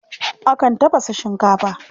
Akan tafasa shinkafa.